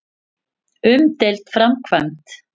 Umdeild framkvæmd.